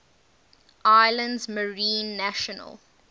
islands marine national